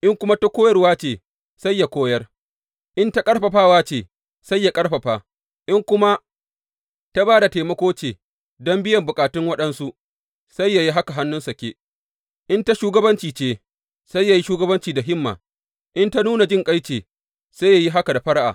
In kuma ta koyarwa ce, sai yă koyar; in ta ƙarfafawa ce, sai yă ƙarfafa; in kuma ta ba da taimako ce don biyan bukatun waɗansu, sai yă yi haka hannu sake; in ta shugabanci ce, sai yă yi shugabanci da himma; in ta nuna jinƙai ce, sai yă yi haka da fara’a.